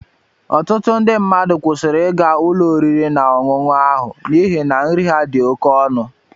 Ọtụtụ ndị mmadụ kwụsịrị ịga ụlọ oriri na ọṅụṅụ ahụ n'ihi na nri ha dị oké ọnụ.